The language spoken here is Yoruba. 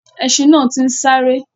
Ẹṣin náà ti ń sáré.